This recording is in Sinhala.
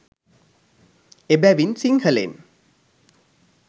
එබැවින් සිංහලෙන්